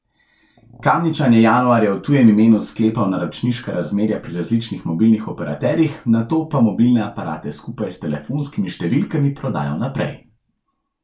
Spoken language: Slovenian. Kamničan je januarja v tujem imenu sklepal naročniška razmerja pri različnih mobilnih operaterjih, nato pa mobilne aparate skupaj s telefonskimi številkami prodajal naprej.